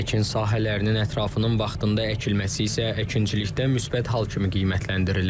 Əkin sahələrinin ətrafının vaxtında əkilməsi isə əkinçilikdə müsbət hal kimi qiymətləndirilir.